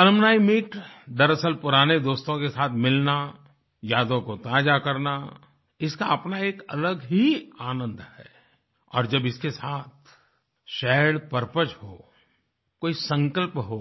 alumni meet दरअसल पुराने दोस्तों के साथ मिलना यादों को ताज़ा करना इसका अपना एक अलग ही आनंद है और जब इसके साथ शेयर्ड परपज हो कोई संकल्प हो